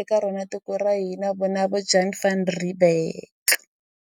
eka rona tiko ra hina vona vo Jan Van Riebeeck.